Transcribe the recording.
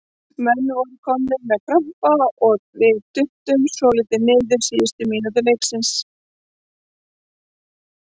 Menn voru komnir með krampa og við duttum svolítið niður síðustu mínútur leiksins.